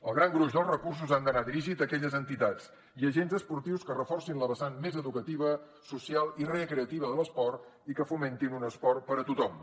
el gran gruix dels recursos han d’anar dirigit a aquelles entitats i agents esportius que reforcin la vessant més educativa social i recreativa de l’esport i que fomentin un esport per a tothom